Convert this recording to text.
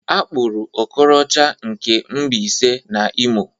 Akpụrụ Okorocha nke Mbaise na Imo